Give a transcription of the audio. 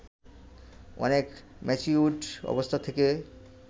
অনেক ম্যাচিউরড অবস্থা থেকে